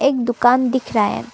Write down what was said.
एक दुकान दिख रहा है।